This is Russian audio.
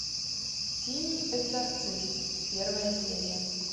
синий экзорцист первая серия